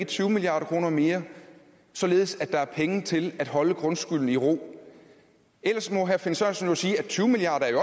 tyve milliard kroner mere således at der er penge til at holde grundskylden i ro ellers må herre finn sørensen jo sige at tyve milliard